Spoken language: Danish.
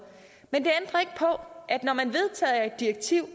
men det ændrer ikke at når man vedtager et direktiv